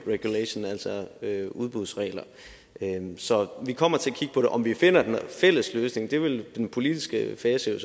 regulations altså udbudsregler så vi kommer til at kigge på det om vi finder en fælles løsning vil den politiske fase